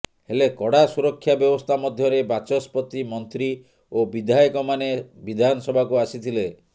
ହେଲେ କଡ଼ା ସୁରକ୍ଷା ବ୍ୟବସ୍ଥା ମଧ୍ୟରେ ବାଚସ୍ପତି ମନ୍ତ୍ରୀ ଓ ବିଧାୟକମାନେ ବିଧାନସଭାକୁ ଆସିଥିଲେ